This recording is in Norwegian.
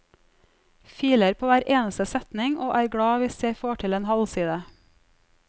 Filer på hver eneste setning, og er glad hvis jeg får til en halvside.